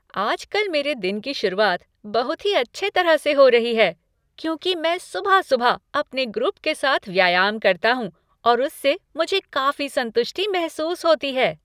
आजकल मेरे दिन कि शुरुआत बहुत ही अच्छे तरह से हो रही है क्यूंकि मैं सुबह सुबह अपने ग्रुप के साथ व्यायाम करता हूँ और उससे मुझे काफ़ी संतुष्टि महसूस होती है।